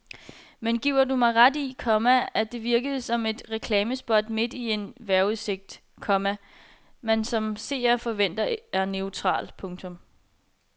Men giver du mig ret i, komma at det virkede som et reklamespot midt i en vejrudsigt, komma man som seer forventer er neutral. punktum